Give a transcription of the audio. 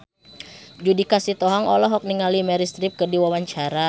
Judika Sitohang olohok ningali Meryl Streep keur diwawancara